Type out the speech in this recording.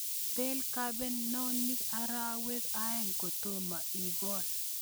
Pal kebenonik arawek aeng kotomo ikol